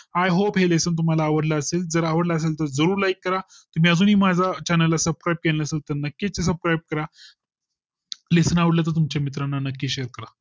I Hope हे Lesson तुम्हाला आवडला असेल जर आवडला असेल तर जरूर Like करा तुम्ही अजूनही माझा Channel ला Subscribe असेल तर नक्की करा. LESSON आवडले तर तुमचे मित्र ना नक्की Share करा